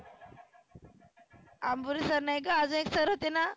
अंभुरे sir नाही ग आजुन एक sir होतेना.